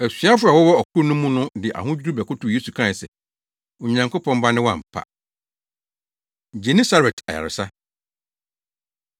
Asuafo a wɔwɔ ɔkorow no mu no de ahodwiriw bɛkotow Yesu kae se, “Onyankopɔn Ba ne wo ampa!” Genesaret Ayaresa